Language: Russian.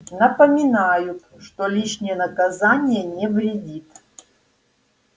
напоминают что лишнее наказание не вредит